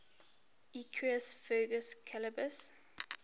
equus ferus caballus